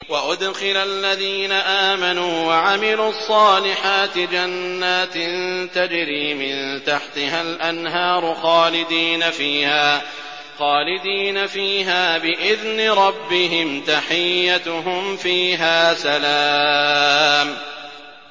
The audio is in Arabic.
وَأُدْخِلَ الَّذِينَ آمَنُوا وَعَمِلُوا الصَّالِحَاتِ جَنَّاتٍ تَجْرِي مِن تَحْتِهَا الْأَنْهَارُ خَالِدِينَ فِيهَا بِإِذْنِ رَبِّهِمْ ۖ تَحِيَّتُهُمْ فِيهَا سَلَامٌ